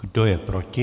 Kdo je proti?